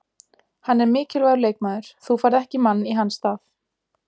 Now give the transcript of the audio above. Hann er mikilvægur leikmaður, þú færð ekki mann í hans stað: